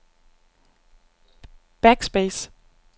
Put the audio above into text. backspace